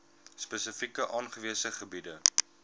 spesifiek aangewese gebiede